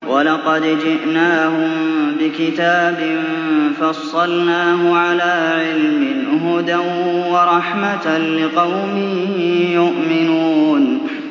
وَلَقَدْ جِئْنَاهُم بِكِتَابٍ فَصَّلْنَاهُ عَلَىٰ عِلْمٍ هُدًى وَرَحْمَةً لِّقَوْمٍ يُؤْمِنُونَ